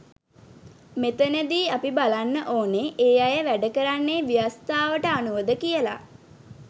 මෙතනදි අපි බලන්න ඕනෙ ඒ අය වැඩ කරන්නේ ව්‍යවස්ථාවට අනුවද කියලා.